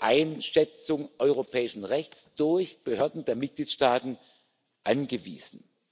Einschätzung europäischen Rechts durch Behörden der Mitgliedstaaten angewiesen.